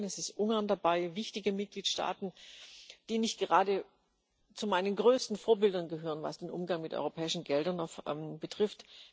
Es ist Polen, es ist Ungarn dabei wichtige Mitgliedstaaten, die nicht gerade zu meinen größten Vorbildern gehören, was den Umgang mit europäischen Geldern betrifft.